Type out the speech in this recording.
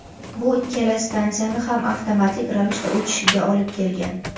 bu ikkala stansiyani ham avtomatik ravishda o‘chishiga olib kelgan.